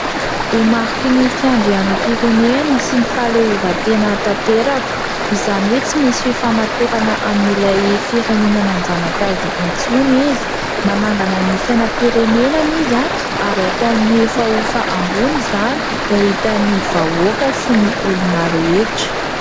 Ho mariky ny fiandrianam-pirenena sy ny fahaleovantena tanteraka ; izany hoe tsy misy fifamatorana amin'ilay firenena nanjanak'azy intsony izy ; manangana ny sainam-pirenenany izy ary ataony miofahofa ambony izany ho hitan'ny vahoaka sy ny olona rehetra.